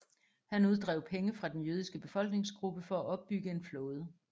Han uddrev penge fra den jødiske befolkningsgruppe for at opbygge en flåde